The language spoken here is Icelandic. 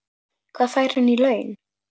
Hvað fær hann í laun?